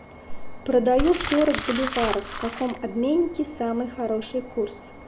продаю сорок боливаров в каком обменнике самый хороший курс